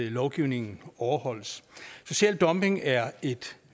at lovgivningen overholdes social dumping er et